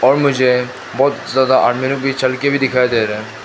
और मुझे बहुत ज्यादा आदमी लोग भी चल के भी दिखाई दे रहा है।